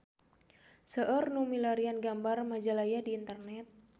Seueur nu milarian gambar Majalaya di internet